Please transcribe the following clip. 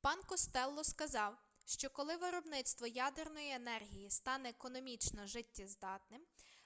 пан костелло сказав що коли виробництво ядерної енергії стане економічно життєздатним